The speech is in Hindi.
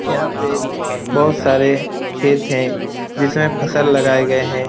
यहाँ पे बहुत सारे खेत हैं जिसमें फसल लगाये गये हैं।